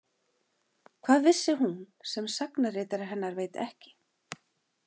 Hvað vissi hún sem sagnaritari hennar veit ekki?